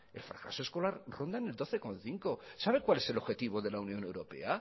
el fracaso escolar ronda en el doce coma cinco sabe cuál es el objetivo de la unión europea